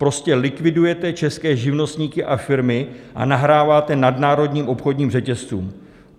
Prostě likvidujete české živnostníky a firmy a nahráváte nadnárodním obchodním řetězcům.